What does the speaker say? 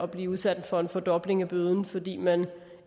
blive udsat for en fordobling af bøden fordi man